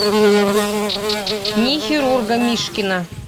дни хирурга мишкина